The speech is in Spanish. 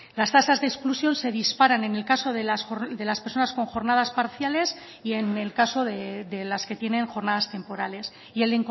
las tasas de exclusión se disparan en el caso de las personas con jornadas parciales y en el caso de las que tienen jornadas temporales y el